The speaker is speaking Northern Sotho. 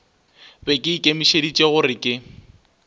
be ke ikemišeditše gore ke